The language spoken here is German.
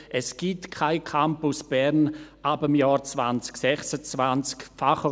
Es gibt keinen Campus Bern ab dem Jahr 2026.